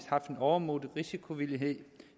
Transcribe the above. overmodig risikovillighed